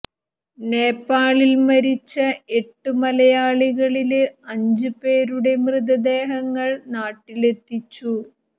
നേപ്പാളിൽ മരിച്ച എട്ടു മലയാളികളില് അഞ്ച് പേരുടെ മൃതദേഹങ്ങൾ നാട്ടിലെത്തിച്ചു